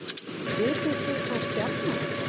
Vitið þið hvaða stjarna þetta er